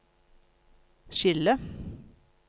skille